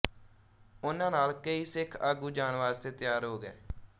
ਉਨ੍ਹਾਂ ਨਾਲ ਕਈ ਸਿੱਖ ਆਗੂ ਜਾਣ ਵਾਸਤੇ ਤਿਆਰ ਹੋ ਗਏ